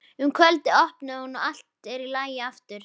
Um kvöldið opnar hún og allt er í lagi aftur.